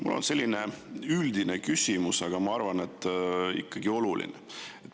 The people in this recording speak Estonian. Mul on selline üldine küsimus, aga ma arvan, et ikkagi oluline.